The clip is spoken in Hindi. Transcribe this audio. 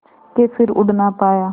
के फिर उड़ ना पाया